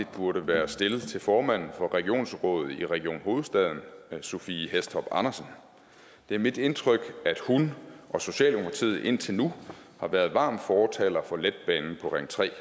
burde være stillet til formanden for regionsrådet i region hovedstaden sophie hæstorp andersen det er mit indtryk at hun og socialdemokratiet indtil nu har været varme fortalere for letbanen på ring tredje